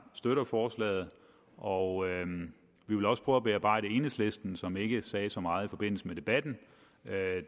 støtter forslaget og vi vil også prøve at bearbejde enhedslisten som ikke sagde så meget i forbindelse med debatten